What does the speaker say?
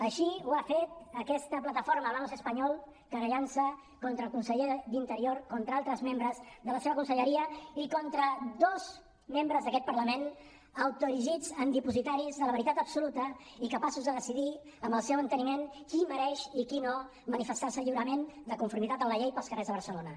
així ho ha fet aquesta plataforma hablamos español querellant se contra el conseller d’interior contra altres membres de la seva conselleria i contra dos membres d’aquest parlament autoerigits en dipositaris de la veritat absoluta i capaços de decidir amb el seu enteniment qui mereix i qui no manifestar se lliurement de conformitat amb la llei pels carrers de barcelona